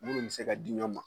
Munnu be se ka di ɲɔgɔn ma.